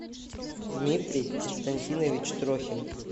дмитрий константинович трохин